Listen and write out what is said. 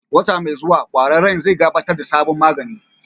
Wata mai zuwa, ƙwararren zai gabatar da sabon magani.